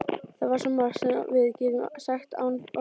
Það er svo margt sem við getum sagt án orða.